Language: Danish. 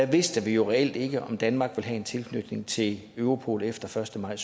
vidste vi jo reelt ikke om danmark ville have en tilknytning til europol efter første maj